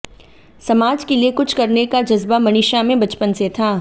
समाज के लिए कुछ करने का जज़्बा मनीषा में बचपन से था